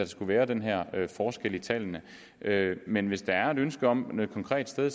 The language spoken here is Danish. skulle være den her forskel i tallene men hvis der er et ønske om noget konkret et sted